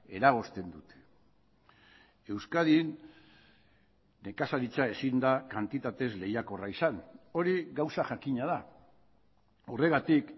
eragozten dute euskadin nekazaritza ezin da kantitatez lehiakorra izan hori gauza jakina da horregatik